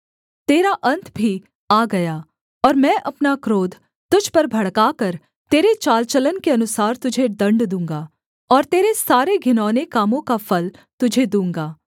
तेरा अन्त भी आ गया और मैं अपना क्रोध तुझ पर भड़काकर तेरे चाल चलन के अनुसार तुझे दण्ड दूँगा और तेरे सारे घिनौने कामों का फल तुझे दूँगा